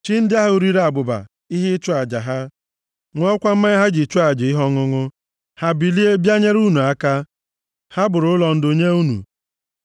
chi ndị ahụ riri abụba ihe ịchụ aja ha, ṅụọkwa mmanya ha ji chụọ aja ihe ọṅụṅụ? Ha bilie bịa nyere unu aka! Ha bụrụ ụlọ ndo nye unu!”